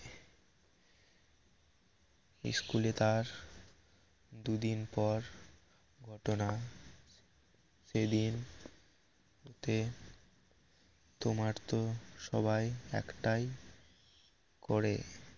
ইস্কুলে তার দুদিন পর ঘটনা সেদিন তে তোমার তো সবাই একটাই করে